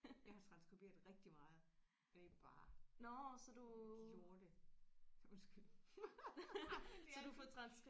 Jeg har transskriberet rigtig meget det er bare et lorte undskyld det er det